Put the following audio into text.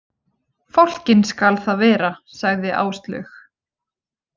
Fálkinn skal það vera, sagði Áslaug.